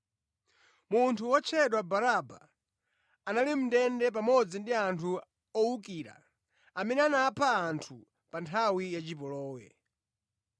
Munthu wotchedwa Baraba anali mʼndende pamodzi ndi anthu owukira amene anapha anthu pa nthawi ya chipolowe.